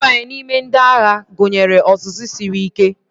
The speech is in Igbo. Ịbanye n'ime ndị agha gụnyere ọzụzụ siri ike